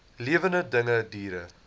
lewende dinge diere